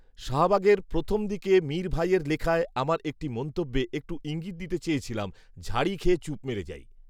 শাহাবাগের প্রথম দিকে মীর ভাইয়ের লেখায় আমার একটি মন্তব্যে একটু ঈংগিত দিতে চেয়েছিলাম, ঝাড়ি খেয়ে চুপ মেরে যাই